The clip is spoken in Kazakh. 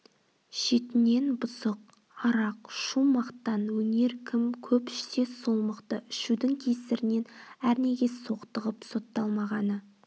шетінен бұзық арақ шу мақтан өнер кім көп ішсе сол мықты ішудің кесірінен әрнеге соқтығып сотталмағаны